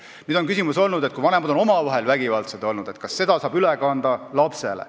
On olnud ka küsimus, et kui vanemad on olnud omavahel vägivaldsed, siis kas seda saab üle kanda lapsele.